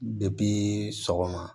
sɔgɔma